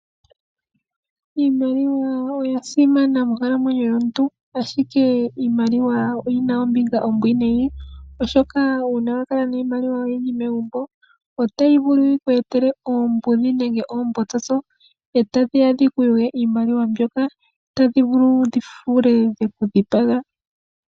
Iimaliwa oya simana monkalamwenyo yomuntu ashike iimaliwa oyina ombinga ombwinayi oshoka uuna wa kala niimaliwa oyindji megumbo otayi vulu okuku etela oombudhi nenge oombotsotso tadhi ya dhi ku kuthe iimaliwa mbyoka tadhi vulu okuku thiga dheku dhipaga.